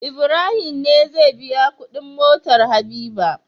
Ibrahim ne zai biya Ƙudin motar habiba